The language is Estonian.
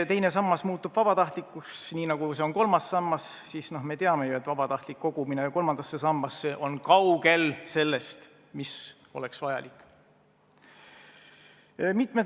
Teine sammas muutub vabatahtlikuks, nii nagu on kolmas sammas, aga me ju teame, et vabatahtlik kogumine kolmandasse sambasse on kaugel sellest, mis oleks vajalik.